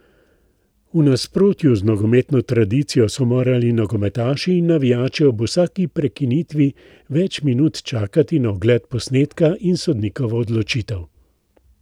V nasprotju z nogometno tradicijo so morali nogometaši in navijači ob vsaki prekinitvi več minut čakati na ogled posnetka in sodnikovo odločitev.